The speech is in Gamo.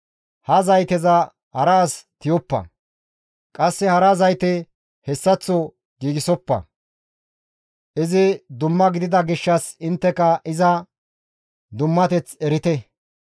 Ha zayteza hara as tiyoppa; qasse hara zayte hessaththo giigsofa. Izi dumma gidida gishshas intteka iza dummateth erite.